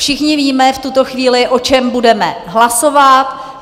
Všichni víme v tuto chvíli, o čem budeme hlasovat.